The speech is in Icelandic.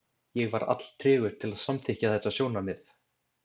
Ég var alltregur til að samþykkja þetta sjónarmið.